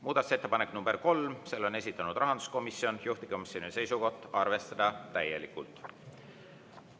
Muudatusettepaneku nr 3 on esitanud rahanduskomisjon, juhtivkomisjoni seisukoht on, et arvestada täielikult.